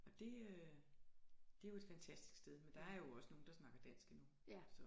Og det øh det jo et fantastisk sted men der er jo også nogen der snakker dansk endnu så